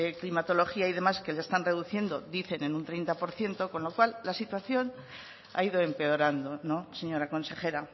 climatología y demás que le están reduciendo dicen en un treinta por ciento con lo cual la situación ha ido empeorando señora consejera